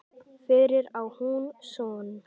Fyrir á hún son.